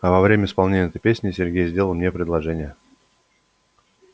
а во время исполнения этой песни сергей сделал мне предложение